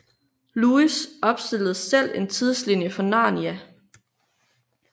Lewis opstillede selv en tidslinje for Narnia